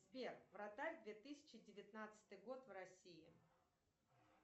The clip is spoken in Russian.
сбер вратарь две тысячи девятнадцатый год в россии